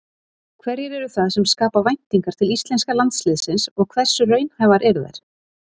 Hverjir eru það sem skapa væntingar til íslenska landsliðsins og hversu raunhæfar eru þær?